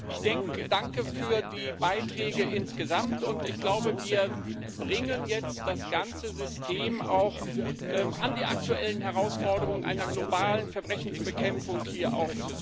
Ich danke für die Beiträge insgesamt, und ich glaube, wir bringen jetzt das ganze System hier auch an die aktuellen Herausforderungen einer globalen Verbrechensbekämpfung heran.